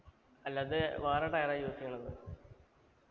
അല്ല ഇത് വേറെ tire ആ use എയ്യണത്